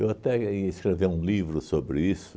até ia escrever um livro sobre isso.